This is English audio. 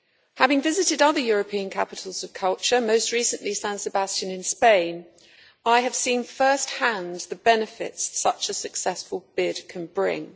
Having visited other European capitals of culture, most recently San Sebastián in Spain, I have seen at first hand the benefits such a successful bid can bring.